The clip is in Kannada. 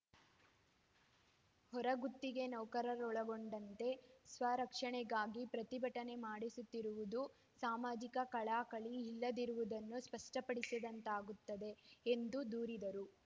ಹೊರಗುತ್ತಿಗೆ ನೌಕರರನ್ನೊಳಗೊಂಡಂತೆ ಸ್ವರಕ್ಷಣೆಗಾಗಿ ಪ್ರತಿಭಟನೆ ಮಾಡಿಸುತ್ತಿರುವುದು ಸಾಮಾಜಿಕ ಕಳಕಳಿ ಇಲ್ಲದಿರುವುದನ್ನು ಸ್ಪಷ್ಟಪಡಿಸಿದಂತಾಗಿದೆ ಎಂದು ದೂರಿದರು